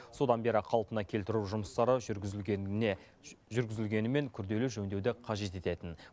содан бері қалпына келтіру жұмыстары жүргізілгеніне жүргізілгенімен күрделі жөндеуді қажет ететін